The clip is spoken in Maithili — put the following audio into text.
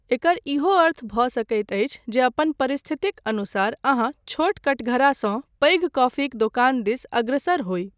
एकर इहो अर्थ भऽ सकैत अछि जे अपन परिस्थितक अनुसार अहाँ छोट कठघारासँ पैघ कॉफीक दोकान दिस अग्रसर होइ।